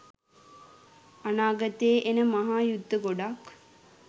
අනාගතයේ එන මහා යුද්ධ ගොඩක්